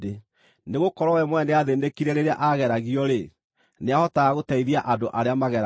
Nĩgũkorwo we mwene nĩathĩĩnĩkire rĩrĩa aageragio-rĩ, nĩahotaga gũteithia andũ arĩa mageragio.